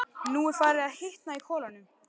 Nú er farið að hitna í kolunum.